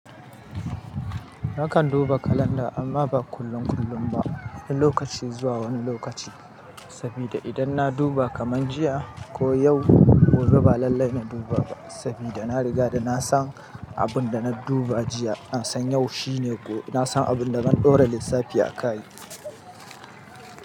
Nakan duba kalanda amma ba kullun kullum ba, wani lokaci zuwa wani lokaci. Sabida idan na duba kaman jiya ko yau, gobe ba lallai na duba ba sabida na riga na san abun da na duba jiya. Na san yau shine ko na san abin da zan dora lissafi a kai.